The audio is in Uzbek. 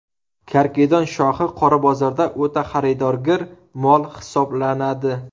Karkidon shoxi qora bozorda o‘ta xaridorgir mol hisoblanadi.